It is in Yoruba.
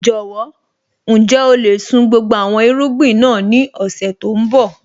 Jọ̀wọ́, ǹjẹ́ o lè sun gbogbo àwọn irúgbìn náà ní ọ̀sẹ̀ tó ń bọ̀?